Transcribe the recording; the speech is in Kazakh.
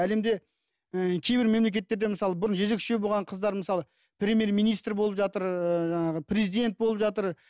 әлемде ііі кейбір мемлекеттерде мысалы бұрын жезөкше болған қыздар мысалы премьер министр болып жатыр ыыы жаңағы президент болып жатыр